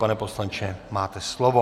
Pane poslanče, máte slovo.